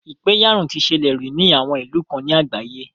Ìpẹ̀yàrun ti ṣẹlẹ̀ rí ní àwọn ìlú kan ní àgbáyé.